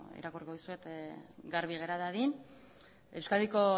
irakurriko dizuet garbi gera dadin euskadiko